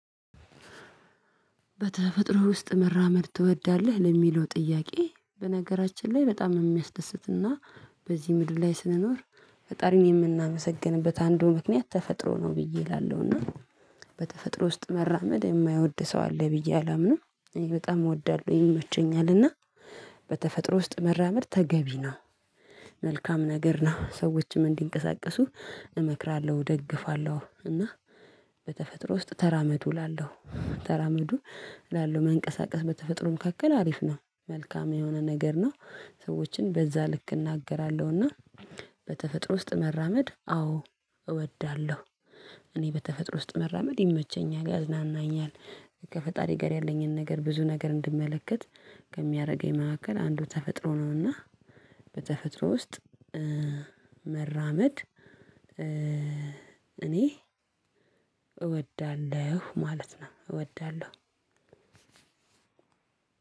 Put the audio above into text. በተፈጥሮ ውስጥ መራመድ ትወዳለህ? ለሚለው ጥያቄ በነገራችን ላይ በጣም የሚያስደስትና በዚህ ምድር ላይ ስንኖር ፈጣሪን የምናመሰግንበት አንዱ ምክንያት ተፈጥሮ ነው ብዬ እላለሁና። በተፈጥሮ ውስጥ መራመድ የማይወድ ሰው አለ ብዬ አላምንም። እኔ በጣም እወዳለሁ ይመቸኛልና። በተፈጥሮ ውስጥ መራመድ ተገቢ ነው። መልካም ነገር ነው ሰዎችም እንዲንቀሳቀሱ እመክራለሁ እደግፋለሁ። እና በተፈጥሮ ውስጥ ተራመዱ እላለሁ ተራመዱ እላለሁ። መንቀሳቀስ በተፈጥሮ መካከል አሪፍ ነው። መልካም የሆነ ነገር ነው። ሰዎችን በዛ ልክ እናገራለሁና። በተፈጥሮ ውስጥ መራመድ አዎ እወዳለሁ። እኔ በተፈጥሮ ውስጥ መራመድ ይመቸኛል ያዝናናኛል። ከፈጣሪ ጋር ያለኝን ነገር ብዙ ነገር እንድመለከት ከሚያደርገኝ መካከል አንዱ ተፈጥሮ ነውና። በተፈጥሮ ውስጥ መራመድ እኔ እወዳለሁ ማለት ነው እወዳለሁ።